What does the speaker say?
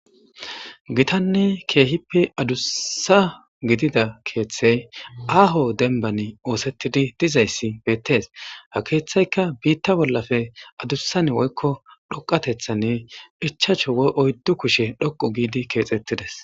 Gitanne keehippe adussa gidida keeththey aaho dembban ooththetidi dizayssi beettes. Ha keeththeykka biitta bollappe adussan woykko dhoqqateththan ichchashu woyi oyddu kushe dhoqqu giidi keexetides.